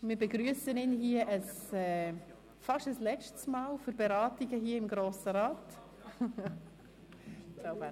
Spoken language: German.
Wir begrüssen ihn nun fast zum letzten Mal zu den Beratungen hier im Grossen Rat.